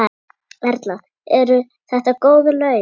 Erla: Eru þetta góð laun?